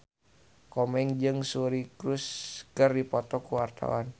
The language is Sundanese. Komeng jeung Suri Cruise keur dipoto ku wartawan